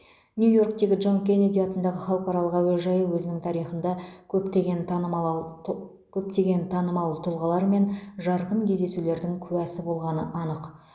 нью иорктегі джон кеннеди атындағы халықаралық әуежайы өзінің тарихында көптеген танымал т көптеген танымал тұлғалар мен жарқын кездесулердің куәсі болғаны анық